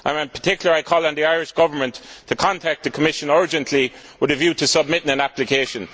In particular, I call on the Irish Government to contact the Commission urgently with a view to submitting an application.